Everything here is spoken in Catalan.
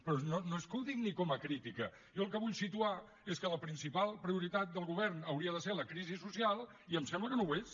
però no és que ho digui com a crítica jo el que vull situar és que la principal prioritat del govern hauria de ser la crisi social i em sembla que no l’és